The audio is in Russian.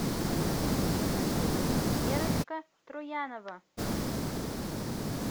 верочка троянова